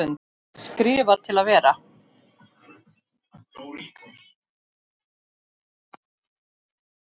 Skrifa til að vera?